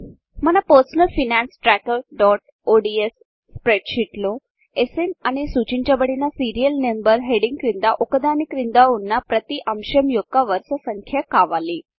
మన personal finance trakerఒడిఎస్పర్సనల్ finance ట్ర్యాకర్ఒడిఎస్ స్ప్రెడ్షీట్లో స్న్ అని సూచించబడిన సీరియల్ నంబర్ హెడ్డింగ్ క్రింద ఒక దాని క్రింద ఉన్న ప్రతి అంశం యొక్క వరుస సంఖ్య కావాలి